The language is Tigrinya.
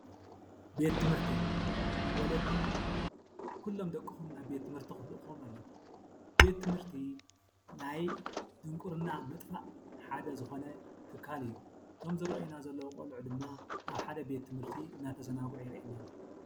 ቤት ትምህርቲ-ወለዲ ኩሎም ደቅኹም ናብ ቤት ትምህርቲ ክልእኽዎም ኣለኵም፡፡ ቤት ትምህርቲ ናይ ድንቑርና ምጥፋእ ሓደ ዝኾነ ትካል እዩ፡፡ እቶም ዝረአዩና ዘለዉ ቆልዑት ድማ ኣብ ሓደ ቤት ትምህርቲ እናተዘናግዑ የርእየና፡፡